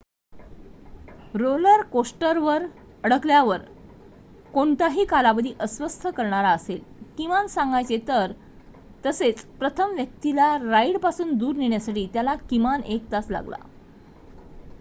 roller कोस्टरवर अडकल्यावर कोणताही कालावधी अस्वस्थ करणारा असेल किमान सांगायचे तर तसेच प्रथम व्यक्तीला राइडपासून दूर नेण्यासाठी त्याला किमान एक तास लागला